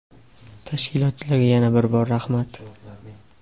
Tashkilotchilarga yana bir bor rahmat.